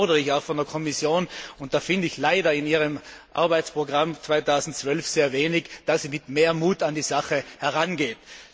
Deshalb fordere ich auch von der Kommission und dazu finde ich leider in Ihrem Arbeitsprogramm 2012 sehr wenig dass sie mit mehr Mut an die Sache herangeht.